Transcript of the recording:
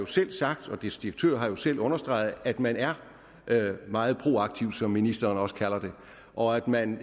selv sagt og dets direktør har selv understreget at man er meget proaktiv som ministeren også kalder det og at man